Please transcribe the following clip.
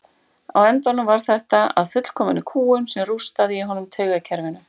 Á endanum varð þetta að fullkominni kúgun sem rústaði í honum taugakerfinu.